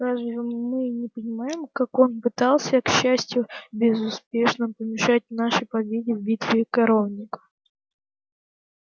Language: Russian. разве мы не понимаем как он пытался к счастью безуспешно помешать нашей победе в битве у коровника